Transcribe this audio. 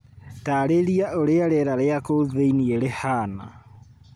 Taarĩria ũrĩa rĩera rĩa kũu thiini rĩhaana.